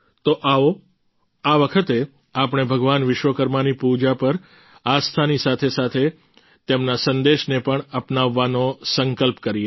તો આવો આ વખતે આપણે ભગવાન વિશ્વકર્માની પૂજા પર આસ્થાની સાથેસાથે તેમના સંદેશને પણ અપનાવવાનો સંકલ્પ કરીએ